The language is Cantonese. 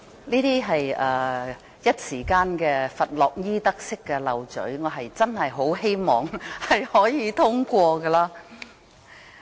這只是佛洛伊德式說漏咀，我真的希望議案可以獲得通過。